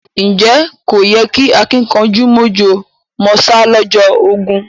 Ǹjẹ́ kò yí kẹ́ àkìnkanjú mọ̀jọ̀ mọ̀sá lọ́jọ́ ogún?